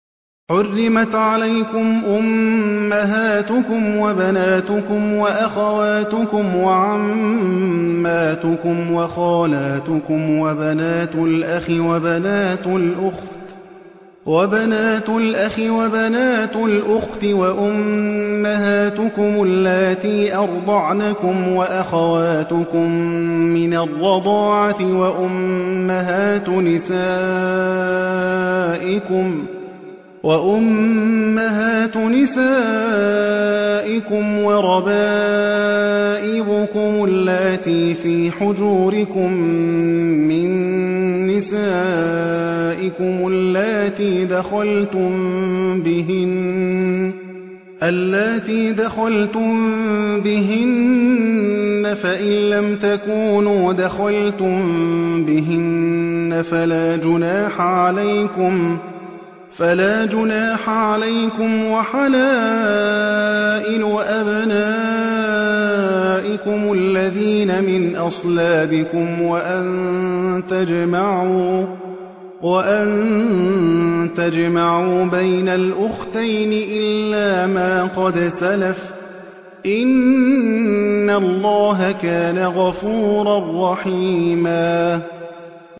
حُرِّمَتْ عَلَيْكُمْ أُمَّهَاتُكُمْ وَبَنَاتُكُمْ وَأَخَوَاتُكُمْ وَعَمَّاتُكُمْ وَخَالَاتُكُمْ وَبَنَاتُ الْأَخِ وَبَنَاتُ الْأُخْتِ وَأُمَّهَاتُكُمُ اللَّاتِي أَرْضَعْنَكُمْ وَأَخَوَاتُكُم مِّنَ الرَّضَاعَةِ وَأُمَّهَاتُ نِسَائِكُمْ وَرَبَائِبُكُمُ اللَّاتِي فِي حُجُورِكُم مِّن نِّسَائِكُمُ اللَّاتِي دَخَلْتُم بِهِنَّ فَإِن لَّمْ تَكُونُوا دَخَلْتُم بِهِنَّ فَلَا جُنَاحَ عَلَيْكُمْ وَحَلَائِلُ أَبْنَائِكُمُ الَّذِينَ مِنْ أَصْلَابِكُمْ وَأَن تَجْمَعُوا بَيْنَ الْأُخْتَيْنِ إِلَّا مَا قَدْ سَلَفَ ۗ إِنَّ اللَّهَ كَانَ غَفُورًا رَّحِيمًا